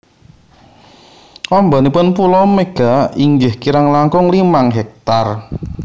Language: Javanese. Ambanipun pulo Mega inggih kirang langkung limang hektar